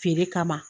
Feere kama